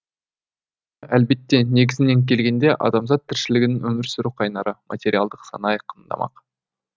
әлбетте негізінен келгенде адамзат тіршілігінің өмір сүру қайнары материалдық сана айқындамақ